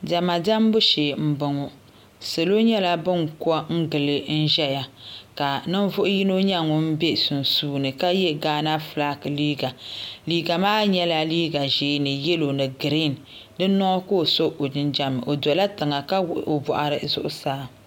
Diɛma diɛmbu shee n boŋo salo nyɛla bin ko gili n ʒɛya ka ninvuɣu yino nyɛ ŋun bɛ sunsuuni ka yɛ Ghana flag liiga liiga maa nyɛla liiga ʒiɛ ni yɛlo no griin di noo ka o so o jinjɛm o dola tiŋa ka wuhi oboɣiri zuɣusaa